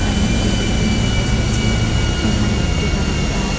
এখানে একটি বিল্ডিং দেখা যাচ্ছে এখানে একটি বারান্দায়--